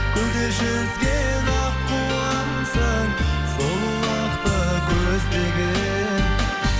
көлде жүзген аққуымсың сұлулықты көздеген